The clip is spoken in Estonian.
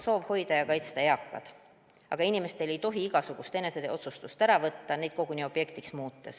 Soov hoida ja kaitsta eakaid on mõistetav, aga inimestelt ei tohi igasugust ise otsustamise õigust ära võtta, neid koguni objektiks muuta.